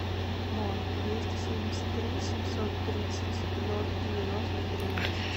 ноль двести семьдесят три семьсот тридцать ноль девяносто тринадцать